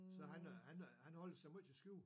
Så han øh han øh han holder sig meget til skjul